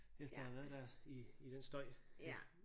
Efter at have været der i i den støj